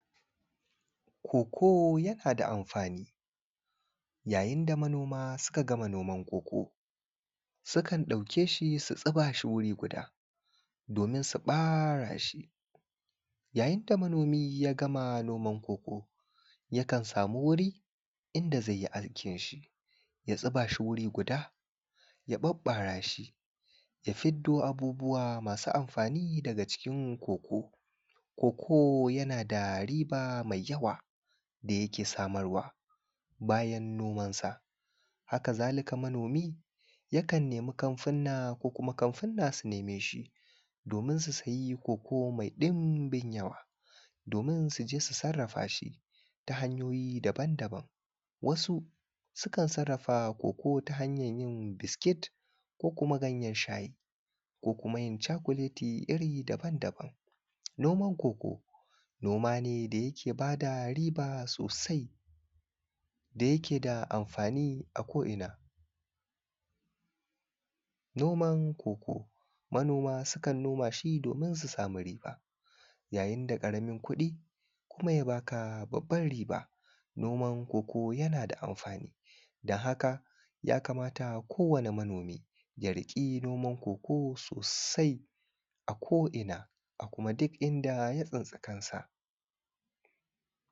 Koko yana da amfani. Yayin da manoma suka gama noman koko, sukan ɗauke shi su tsuba shi wuri guda domin su bara shi. Yayin da manomi ya gama noman koko yakan samu wuri inda zai yi aikin shi. Ya zuba shi wuri guda, Ya ɓaɓɓara shi ya fiddo abubuwa masu amfani daga cikin koko. Koko yana da riba mai yawa da yake samarwa. Bayan nomansa.. Haka-za-lika manomi yakan nemi kamfuna ko kuma kamfuna su neme shi domin su siya koko mai ɗimbin yawa domin su je su sarrafa shi ta hanyoyi dabam daban-daban. Wasu sukan sarrafa koko ta hanyar yin biskit, ko kuma ganyen shayi ko kuma yin cakuleti iri dabam-daban. Noman koko, noma ne da yake ba da riba sosai, da yake da amfani a ko’ina. Noman koko, manoma sukan noma shi domin su samu riba. Yayin da ƙaramin kuɗi kuma ya baka babban riba. Noman koko yana da amfani, don haka yakamata kowani manomi ya riƙe noman koko sosai ko’ina a kuma duk inda ya tsinci kansa.